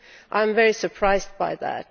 I am very surprised by that.